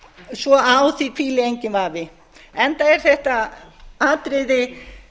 svo á því hvíli endinn vafi enda er þetta atriði